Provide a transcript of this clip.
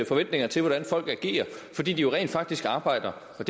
forventninger til hvordan folk agerer fordi de jo rent faktisk arbejder og